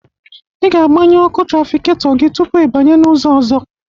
Ị ga-agbanye ọkụ trafiketọ gị tupu ịbanye n'ụzọ ọzọ.